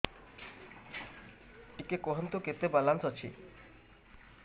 ଟିକେ କୁହନ୍ତୁ କେତେ ବାଲାନ୍ସ ଅଛି